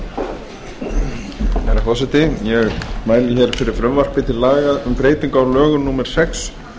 herra forseti ég mæli fyrir frumvarpi til laga um breytingu á lögum númer sex